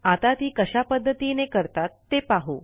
आता ती कशा पध्दतीने करतात ते पाहू